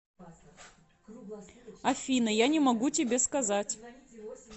афина я не могу тебе сказать